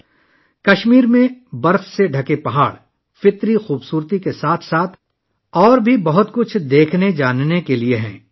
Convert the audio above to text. کشمیر میں برف پوش پہاڑ، قدرتی حسن کے ساتھ؛ دیکھنے اور جاننے کے لیے اور بھی بہت سی چیزیں ہیں